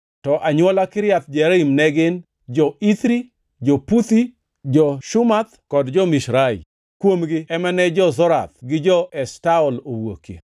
to anywola Kiriath Jearim ne gin: jo-Ithri, jo-Puthi, jo-Shumath kod Mishrai. Kuomgi ema ne jo-Zorath gi jo-Eshtaol owuokie.